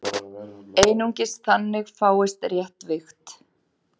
Einungis þannig fáist rétt vigt.